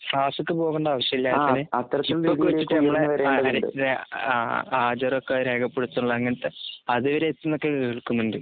ക്ലാസ്സൊക്കെപോകെണ്ടാവിശ്യില്ല ചിപ്പൊക്കെവച്ചിട്ട്ഞമ്മടെ ആകറക്റ്റ് രേഅ അ ഹാജരൊക്കെരേഖപ്പെടുത്തുള്ള അങ്ങനത്തെ അതുവരെയെത്തിന്നൊക്കെകേൾക്കുന്നുണ്ട്.